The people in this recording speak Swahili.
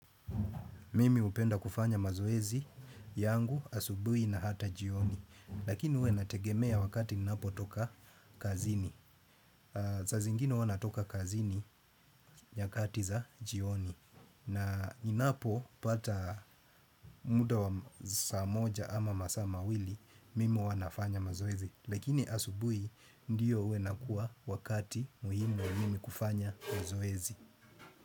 Mimi hupenda kufanya mazoezi yangu asubuhi na hata jioni. Lakini huwa inategemea wakati ninapo toka kazini. Saa zingine huwa natoka kazini nyakati za jioni. Na ninapo pata muda wa saa moja ama masaa mawili, mimi huwa nafanya mazoezi. Lakini asubuhi ndio huwa inakuwa wakati muhimu wa mimi kufanya mazoezi.